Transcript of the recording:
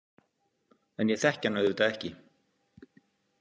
En ég þekki hann auðvitað ekki.